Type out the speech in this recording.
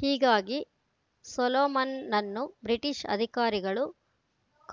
ಹೀಗಾಗಿ ಸೊಲೊಮನ್‌ನನ್ನು ಬ್ರಿಟಿಷ್‌ ಅಧಿಕಾರಿಗಳು